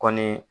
Kɔni